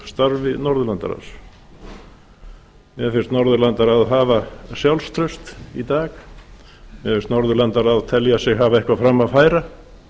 á starfi norðurlandaráðs mér finnst norðurlandaráð hafa sjálfstraust í dag mér finnst norðurlandaráð telja sig hafa eitthvað fram að færa